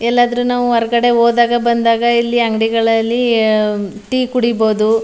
ಎಲ್ಲಾದ್ರೆ ನಾವು ಹೊರಗಡೆ ಹೋದಾಗ ಬಂದಾಗ ಎಲ್ಲ್ಲ ಇಲ್ಲಿಅಂಗಡಿಗಳಲ್ಲಿ ಟೀ ಕುಡೀಬಹುದು-